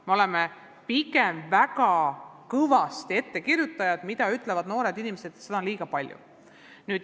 Me oleme pigem väga kõvad ettekirjutajad, seda ütlevad noored inimesed, ja seda on liiga palju.